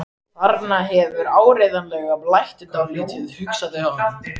Þarna hefur áreiðanlega blætt dálítið, hugsaði hann.